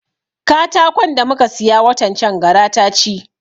Katakon da muka siya watan can gara ta ci